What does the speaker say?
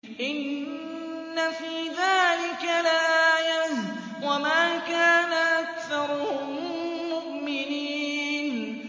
إِنَّ فِي ذَٰلِكَ لَآيَةً ۖ وَمَا كَانَ أَكْثَرُهُم مُّؤْمِنِينَ